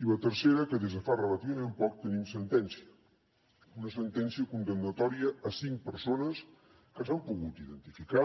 i la tercera que des de fa relativament poc tenim sentència una sentència condemnatòria a cinc persones que s’han pogut identificar